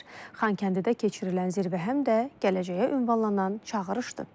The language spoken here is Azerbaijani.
Xankəndidə keçirilən zirvə həm də gələcəyə ünvanlanan çağırışdır.